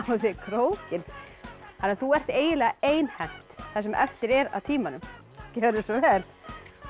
á þig krókinn þannig að þú ert eiginlega einhent það sem eftir er af tímanum gjörðu svo vel